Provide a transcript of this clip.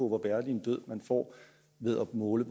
hvor værdig en død man får ved at måle